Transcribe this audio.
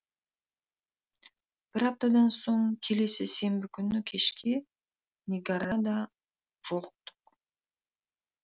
бір аптадан соң келесі сенбі күні кешке нигарада жолықтық